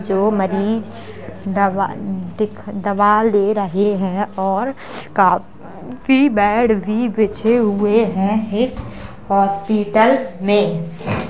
जो मरीज दवा दिख दवा ले रहे हैं और काफी बेड भी बिछे हुए हैं इस हॉस्पिटल में।